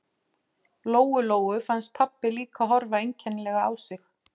Lóu-Lóu fannst pabbi líka horfa einkennilega á sig.